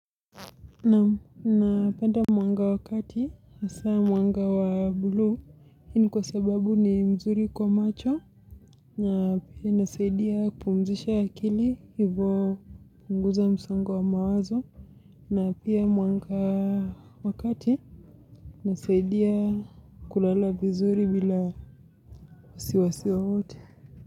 Naam, napenda mwanga wakati hasa mwanga wa buluu. Hii ni kwa sababu ni mzuri kwa macho na pia inasaidia kupumzisha akili, hivo hupunguza msongo wa mawazo na pia mwanga wa kati hnasaidia kulala vizuri bila wasiwasi wowote.